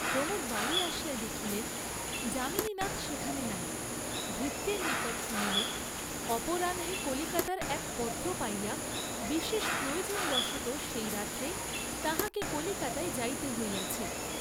প্রমোদ বাড়ী আসিয়া দেখিলেন, যামিনীনাথ সেখানে নাই, ভৃত্যের নিকট শুনিলেন, অপরাহ্নে কলিকাতার এক পত্র পাইয়া বিশেষ প্রয়োজনবশতঃ সেই রাত্রেই তাঁহাকে কলিকাতায় যাইতে হইয়াছে।